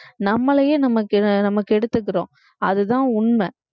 நம்மளையே நம்ம கெ~ கெடுத்துக்கிறோம் அதுதான் உண்மை